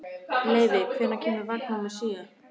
Leivi, hvenær kemur vagn númer sjö?